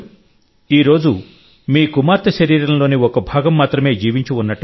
ఈ రోజు మీ కుమార్తె శరీరంలోని ఒక భాగం మాత్రమే జీవించి ఉన్నట్టు కాదు